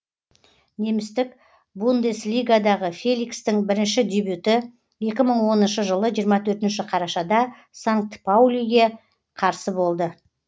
немістік бундеслигадағы феликстің бірінші дебюті екі мың оныншы жылы жиырма төртінші қарашада санкт паулиға қарсы болды